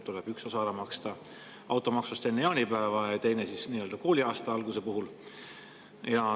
Üks osa automaksust tuleb ära maksta enne jaanipäeva ja teine kooliaasta alguse puhul.